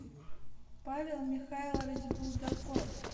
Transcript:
павел михайлович булдаков